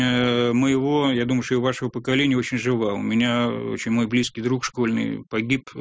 моего я думаю что и вашего поколение очень жива у меня очень мой близкий друг школьный погиб